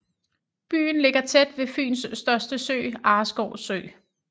Byen ligger tæt ved Fyns største sø Arreskov Sø